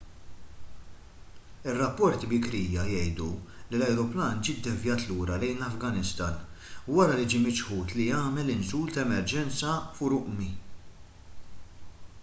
ir-rapporti bikrija jgħidu li l-ajruplan ġie ddevjat lura lejn l-afganistan wara li ġie miċħud li jagħmel inżul ta’ emerġenza f’urümqi